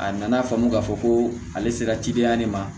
A nana faamu k'a fɔ ko ale sera cidenya de ma